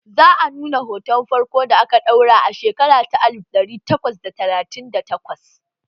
Za a nuna hoton farko da aka ɗauka a shekara ta alif ɗari takwas da talatin da takwas